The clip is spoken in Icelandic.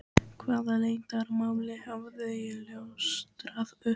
Hvaða leyndarmáli hafði ég ljóstrað upp?